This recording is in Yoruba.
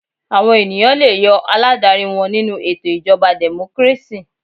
Àwọn ènìyàn le yọ aládarí wọn nínú ètò ìjọba democracy.